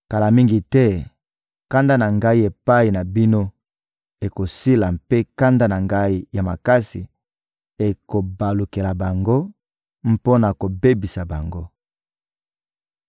Kala mingi te, kanda na Ngai epai na bino ekosila mpe kanda na Ngai ya makasi ekobalukela bango mpo na kobebisa bango.»